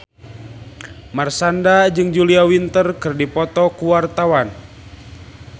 Marshanda jeung Julia Winter keur dipoto ku wartawan